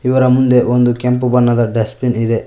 ಇವರ ಮುಂದೆ ಒಂದು ಕೆಂಪು ಬಣ್ಣದ ಡಸ್ಟ್ ಬಿನ್ ಇದೆ.